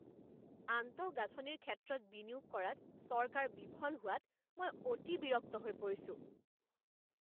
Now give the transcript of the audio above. আন্তঃগাঁথনিৰ ক্ষেত্ৰত বিনিয়োগ কৰাত চৰকাৰ বিফল হোৱাত মই অতি বিৰক্ত হৈ পৰিছোঁ।